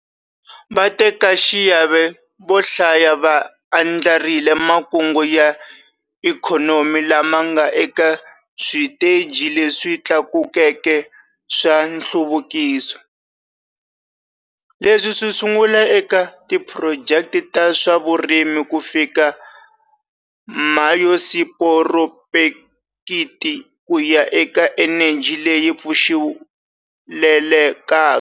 Vatekaxiave vo hlaya va andlarile makungu ya ikhonomi lama nga eka switeji leswi tlakukeke swa nhluvukiso. Leswi swi sungula eka tiphurojeke ta swa vurimi ku fika bayosiporopekiti ku ya eka eneji leyi pfuxelelekaka.